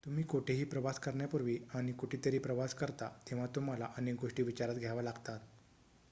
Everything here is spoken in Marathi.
तुम्ही कोठेही प्रवास करण्यापूर्वी आणि कुठेतरी प्रवास करता तेव्हा तुम्हाला अनेक गोष्टी विचारात घ्याव्या लागतात